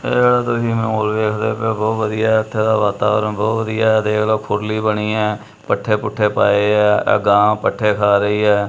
ਇਹ ਜਿਹੜਾ ਤੁਸੀਂ ਵਿਊ ਵੇਖਦੇ ਪਏ ਹੋ ਬਹੁਤ ਵਧੀਆ ਬਹੁਤ ਵਧੀਆ ਇਥੇ ਤਾਂ ਵਾਤਾਵਰਨ ਹੈ ਇਹ ਦੇਖ ਲਓ ਖੁਰਲੀ ਪਾਈ ਹੋਈ ਹੈ ਪੱਠੇ ਪੁੱਠੇ ਪਾਏ ਹੋਏ ਆ ਗਾਂ ਪੱਠੇ ਖਾ ਰਹੀ ਹੈ।